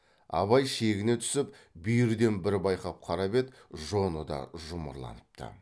абай шегіне түсіп бүйірден бір байқап қарап еді жоны да жұмырланыпты